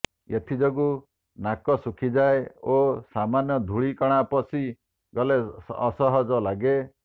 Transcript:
ଏଥିଯୋଗୁ ନାକ ଶୁଖିଯାଏ ଓ ସାମାନ୍ୟ ଧୂଳିକଣା ପଶି ଗଲେ ଅସହଜ ଲାଗେ